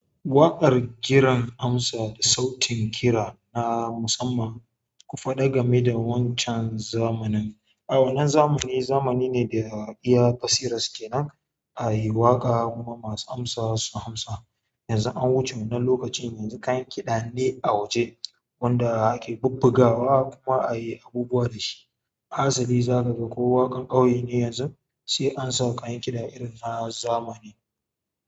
Waƙar kiran amsa da sautin kira na musamman, ku faɗa game da wancan zamanin. A wannan zamani zamani ne da iya basira suke nan a yi waƙa kuma masu amsa su amsa. Yanzu an wuce wannan lokacin, yanzu kayan kiɗa ne a wuje wanda ake bubbugawa kuma a yi abubuwa da shi. Hasali za ka ga ko waƙar ƙauye ne yanzu sai an saka kayan kiɗa irin na zamani.